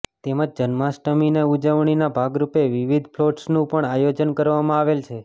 તેમજ જન્માષ્ટમીની ઉજવણીના ભાગરુપે વિવિધ ફલોટસનું પણ આયોજન કરવામાં આવેલ છે